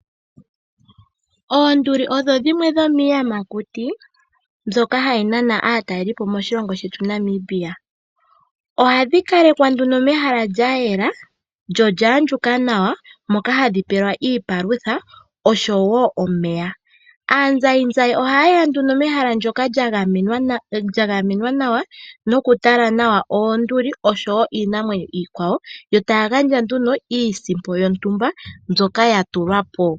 Oonduli odho dhimwe dhomiiyamakuti mbyoka hayi nana aatalelipo moshilongo shetu Namibia. Ohadhi kalekwa nduno mehala lya yela lyo olya andjuka nawa moka hadhi pelwa iipalutha oshowo omeya. Aazayizayi ohaye ya nduno mehala ndyoka lya gamenwa nawa nokutala nawa oonduli oshowo iinamwenyo iikwawo. Yo taya gandja nduno iisimpo yontumba mbyoka ya tulwa po.